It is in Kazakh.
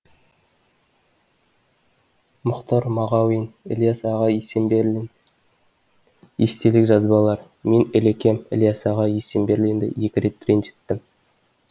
мұхтар мағауинілияс аға есенберлин естелік жазбалар мен ілекем ілияс аға есенберлинді екі рет ренжіттім